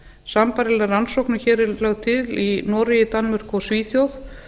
sambærileg rannsókn og hér er lögð til í noregi danmörku og svíþjóð